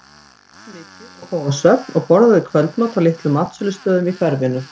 Hún las mikið og fór á söfn og borðaði kvöldmat á litlum matsölustöðum í hverfinu.